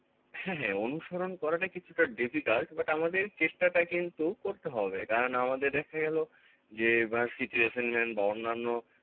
হ্যাঁ হ্যাঁ অনুসরণ করাটা কিছুটা difficult but আমাদের চেষ্টা টা কিন্তু করতে হবে কারণ আমাদের দেখা গেলো যে versity assignment বা অন্যান্য